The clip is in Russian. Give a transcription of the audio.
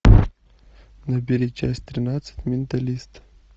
набери часть тринадцать менталист